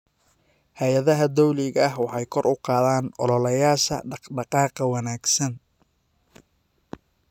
Hay'adaha dawliga ah waxay kor u qaadaan ololayaasha dhaq-dhaqaaqa wanaagsan.